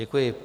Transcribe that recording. Děkuji.